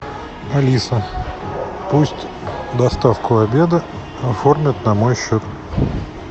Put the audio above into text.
алиса пусть доставку обеда оформят на мой счет